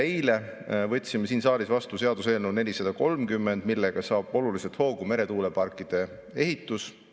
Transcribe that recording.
Eile võtsime siin saalis seadusena vastu eelnõu 430, millega saab oluliselt hoogu meretuuleparkide ehitus.